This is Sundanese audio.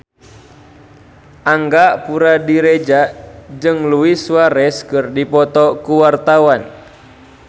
Angga Puradiredja jeung Luis Suarez keur dipoto ku wartawan